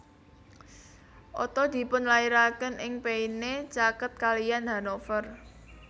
Otto dipunlairaken ing Peine caket kaliyan Hanover